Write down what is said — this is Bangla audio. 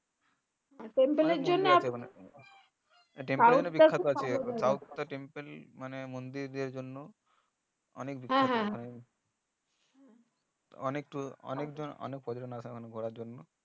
temple মানে মন্দির এর জন্য অনেক কতজন আসে মানে ঘোড়ার জন্য